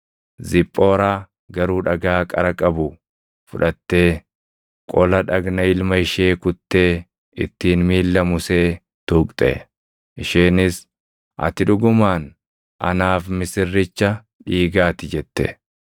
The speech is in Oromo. Ziphooraa garuu dhagaa qara qabu fudhattee qola dhagna ilma ishee kuttee ittiin miilla Musee tuqxe. Isheenis, “Ati dhugumaan anaaf misirricha dhiigaati” jette.